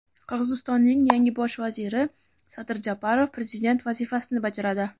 Qirg‘izistonning yangi bosh vaziri Sadir Japarov prezident vazifasini bajaradi.